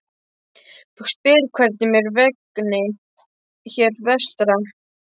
Þú spyrð hvernig mér vegni hér vestra.